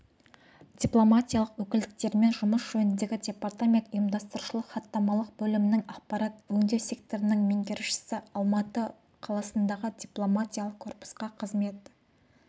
дипломатиялық өкілдіктерімен жұмыс жөніндегі департамент ұйымдастырушылық-хаттамалық бөлімінің ақпарат өңдеу секторының меңгерушісі алматы қаласындағы дипломатиялық корпусқа қызмет